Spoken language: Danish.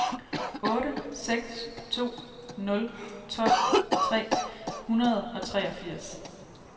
otte seks to nul tolv tre hundrede og treogfirs